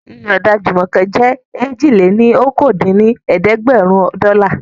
Iye Ọ̀dà Jùmọ̀kẹ́ jẹ́ èjì-lé-ní-okòó dín ní ẹ̀ẹ́dẹ́gbẹ́rún dọ́là